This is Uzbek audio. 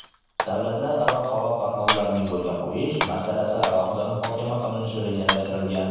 davlatlararo havo qatnovlarini yo‘lga qo‘yish masalasi alohida muhokama qilinishi rejalashtirilgan.